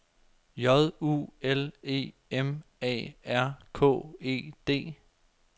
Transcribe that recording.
J U L E M A R K E D